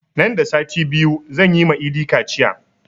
Nan da sati biyu zan yi ma idi kaciya